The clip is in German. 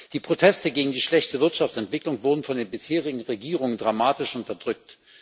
Die Proteste gegen die schlechte Wirtschaftsentwicklung wurden von den bisherigen Regierungen dramatisch unterdrückt.